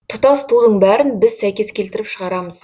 тұтас тудың бәрін біз сәйкес келтіріп шығарамыз